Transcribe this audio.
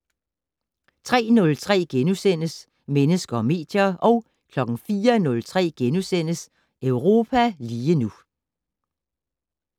03:03: Mennesker og medier * 04:03: Europa lige nu *